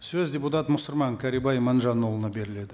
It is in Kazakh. сөз депутат мұсырман кәрібай иманжанұлына беріледі